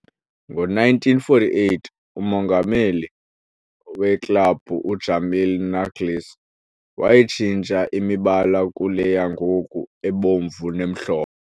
Ngo-1948, umongameli weklabhu, u-Jamil Naglis, wayitshintsha imibala kule yangoku, ebomvu nemhlophe.